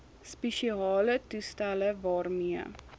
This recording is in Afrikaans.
spesiale toestelle waarmee